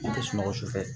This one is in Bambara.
An tɛ sunɔgɔ su fɛ